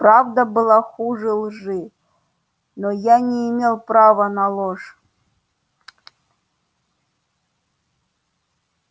правда была хуже лжи но я не имел права на ложь